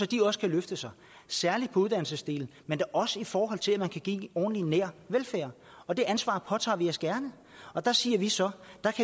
de også kan løfte sig særlig på uddannelsesdelen men gerne også i forhold til at man kan give en ordentlig og nær velfærd og det ansvar påtager vi os gerne der siger vi så